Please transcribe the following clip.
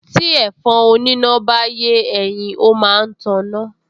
Tí ẹ̀fọn oníná bá yé ẹyin, ó máa ń taná